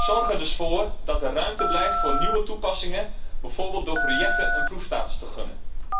Zorg er dus voor dat er ruimte blijft voor nieuwe toepassingen, bijvoorbeeld door projecten een proefstatus te gunnen.